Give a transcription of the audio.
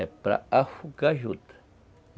É para afogar a juta.